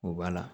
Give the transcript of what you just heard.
O b'a la